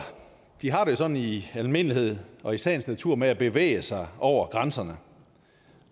har det jo sådan i almindelighed og i sagens natur med at bevæge sig over grænserne